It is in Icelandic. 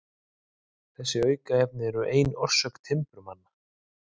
Þessi aukaefni eru ein orsök timburmanna.